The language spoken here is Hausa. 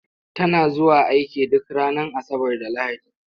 Tana zuwa aiki duk ranar Asabar da Lahadi.